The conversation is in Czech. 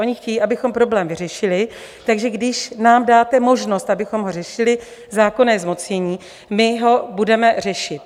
Oni chtějí, abychom problém vyřešili, takže když nám dáte možnost, abychom ho řešili, zákonné zmocnění, my ho budeme řešit.